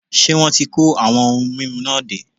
Ṣé wọn ti kó àwọn ohun mímu náà dé?